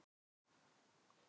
Þannig er allt sem við gerum.